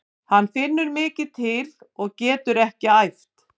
Hann finnur mikið til og getur ekkert æft.